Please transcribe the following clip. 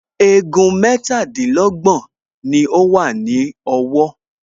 Egun mẹ́tàdínlọ́gbọ̀n ni ó wà ní ọwọ́